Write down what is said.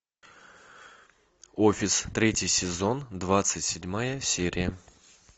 офис третий сезон двадцать седьмая серия